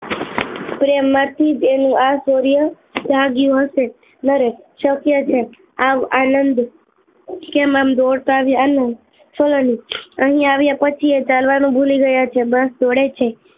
પ્રેમ માંથી તેનો આ શોર્ય જાગ્યો હશે નરેન શક્ય છે આવ આનંદ કેમ આમ દોડતા આવ્યા સલોની અહી આવ્યા પછી એ ચાલવા નું ભૂલી ગયા છે બસ દોડે જ છે